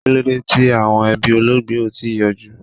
Kilode ti awọn ẹbí Olóògbé o tii yọju?